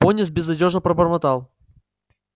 пониетс безнадёжно пробормотал